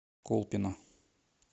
колпино